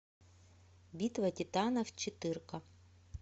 битва титанов четыре ка